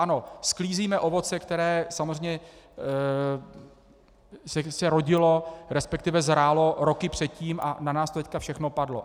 Ano, sklízíme ovoce, které samozřejmě se rodilo, respektive zrálo roky předtím a na nás to teď všechno padlo.